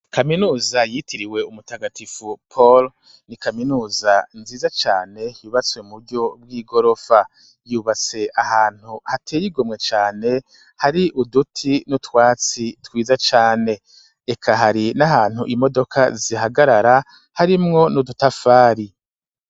Kaminuza yitiriwe Umutagatifu Poro ,ni kaminuza nziza cane yubatswe mu buryo bw'igorofa, yubatse ahantu hateye igomwe cane hari uduti n'utwatsi twiza cane ,eka hari n'ahantu imodoka zihagarara harimwo n'udutafari.